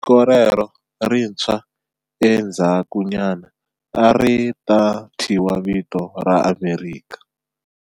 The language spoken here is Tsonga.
Tiko rero lerintshwa endzhakunyana a ri ta thyiwa vito ra Amerika.